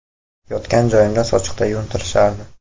Yotgan joyimda sochiqda yuvintirishardi.